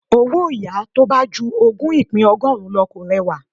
Owó yàá tó bá ju ogún ìpín ọgọ́rùn-ún lọ kò rẹwà.